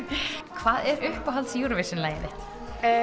hvað er uppáhalds Eurovision lagið þitt